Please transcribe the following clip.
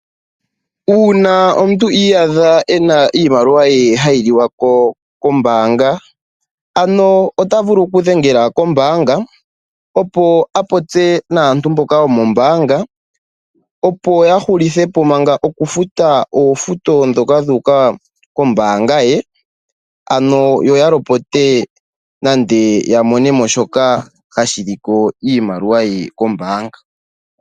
Uuna omuntu iyadha ena iimaliwa ye hayi liwa ko kombaanga ano ota vulu okudhengela kombaanga opo a popye naantu mboka yokombaanga opo ya hulithepo Manga okufuta oofuto dhoka dhuuka kombaanga ye opo ya mone shoka hashi liko iimaliwa ye kombaanga .